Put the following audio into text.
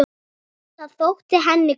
Það þótti henni gott.